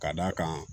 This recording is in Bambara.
Ka d'a kan